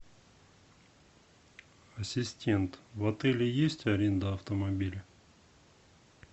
ассистент в отеле есть аренда автомобиля